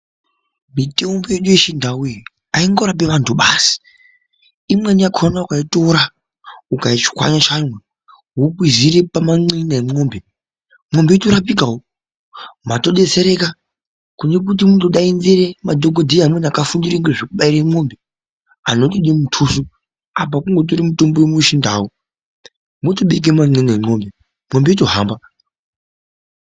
Mitombo yedu yechindau iyi haingorapi vantu basi imweni yakona ukaitora ukaitshwanya tshwanya wokwizira pamanxinda emwombe mwombe yotorapikawo madetsereka kune kuti ungodaanzira madhokoteya apa kungotora mutombo umwe wechindau wongobeka manxina emwombe yotohamba watodetsereka.